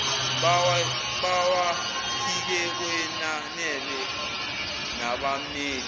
bawaphike kwenanele nabammeli